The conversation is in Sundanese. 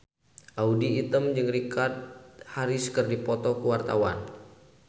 Audy Item jeung Richard Harris keur dipoto ku wartawan